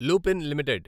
Lupin limited